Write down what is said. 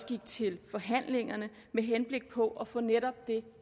gik til forhandlingerne med henblik på at få netop det